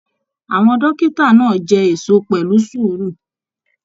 Àwọn dókítà náà jẹ èso pẹlú sùúrù.